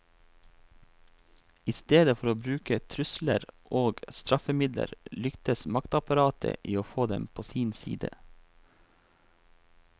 I stedet for å bruke trusler og straffemidler lyktes maktapparatet i å få dem på sin side.